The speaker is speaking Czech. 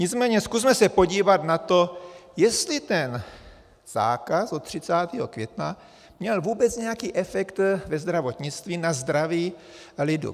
Nicméně zkusme se podívat na to, jestli ten zákaz od 30. května měl vůbec nějaký efekt ve zdravotnictví na zdraví lidu.